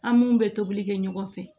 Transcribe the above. An mun bɛ tobili kɛ ɲɔgɔn fɛ